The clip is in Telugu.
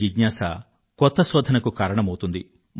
వారి ప్రశ్నలకు సమాధానాలు దొరికేవరకూ వివేకవంతులు నిద్రపోరు